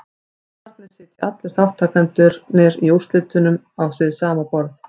Þannig sitja allir þátttakendurnir í úrslitunum við sama borð.